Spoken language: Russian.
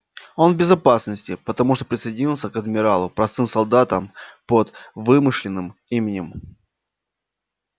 он в безопасности потому что присоединился к адмиралу простым солдатом под вымышленным именем